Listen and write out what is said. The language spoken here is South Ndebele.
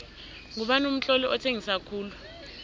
ngubani umtloli othengisa khulu